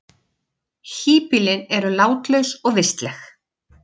Híbýlin eru látlaus og vistleg.